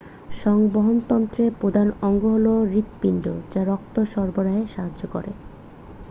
সংবহনতন্ত্রের প্রধান অঙ্গ হল হৃৎপিণ্ড যা রক্ত সরবরাহে সাহায্য করে